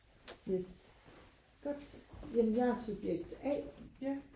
yes godt jamen jeg er subjekt a